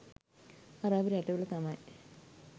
අරාබි රටවල තමයි